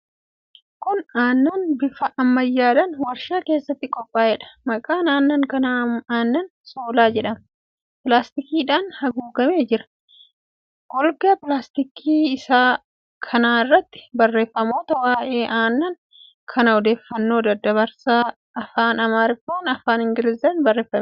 Kun aannan bifa ammayyaadhaan warshaa keessatti qophaa'eedha. Maqaan aannan kanaa Aannan Shoolaa jedhama. Pilaastikiidhaan haguugamee jira. Golgaa pilaastikii isaa kana irratti barreeffamoota waa'ee aannan kanaa odeeffannoo dabarsan afaan Amaaraafi afaan Ingilizitiin barreeffamee jira.